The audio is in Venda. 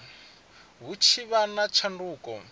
hu tshi vha na tshanduko